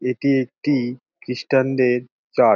এটি একটি ক্রিস্টান দের চার্চ ।